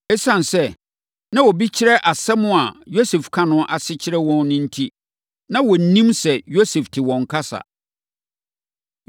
Esiane sɛ na obi kyerɛ nsɛm a Yosef ka no ase kyerɛ wɔn no enti, na wɔnnim sɛ Yosef te wɔn kasa.